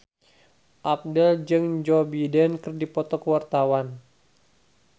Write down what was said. Abdel jeung Joe Biden keur dipoto ku wartawan